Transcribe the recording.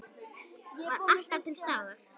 Var alltaf til staðar.